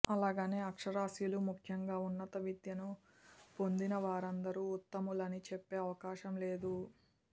అలాగని అక్షరాస్యులు ముఖ్యంగా ఉన్నత విద్యను పొందినవారందరూ ఉత్తములని చెప్పే అవకాశం లేదు